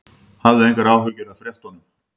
Hafðu engar áhyggjur af fréttunum.